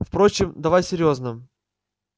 впрочем давай серьёзно